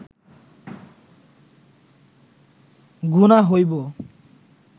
গুনাহ হইব